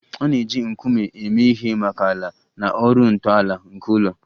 A na-eji nkume eme ihe maka ala na ọrụ ntọala nke ụlọ